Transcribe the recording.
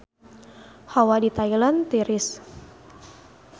Hawa di Thailand tiris